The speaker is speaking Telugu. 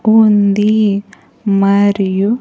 ఉంది మరియు.